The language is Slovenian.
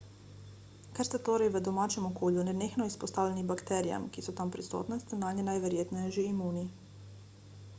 ker ste torej v domačem okolju nenehno izpostavljeni bakterijam ki so tam prisotne ste nanje najverjetneje že imuni